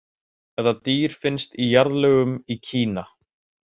Þetta dýr fannst í jarðlögum í Kína.